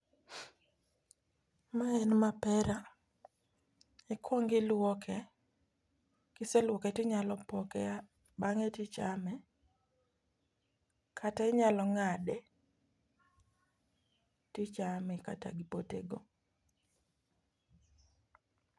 Mae en mapare ikwongi luoke kiseluoke tinyalo poke bang'e tichame, kata inyalo ng'ade tichame kata gi pote go.